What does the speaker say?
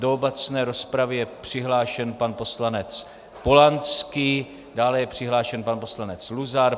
Do obecné rozpravy je přihlášen pan poslanec Polanský, dále je přihlášen pan poslanec Luzar.